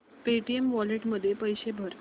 Paytm wallet मध्ये पैसे भर